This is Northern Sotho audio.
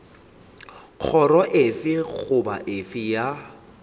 kgoro efe goba efe ya